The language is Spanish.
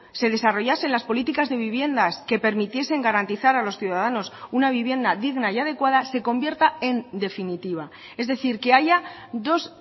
se desarrollasen las políticas de viviendas que permitiesen garantizar a los ciudadanos una vivienda digna y adecuada se convierta en definitiva es decir que haya dos